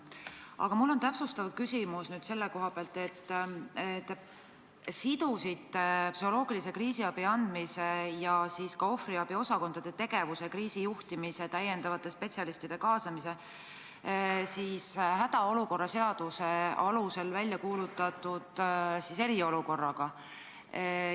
Aga mul on täpsustav küsimus selle kohta, et te sidusite psühholoogilise kriisiabi andmise ja ohvriabi osakondade tegevuse, kriisijuhtimise täiendavate spetsialistide kaasamise hädaolukorra seaduse alusel väljakuulutatud eriolukorraga.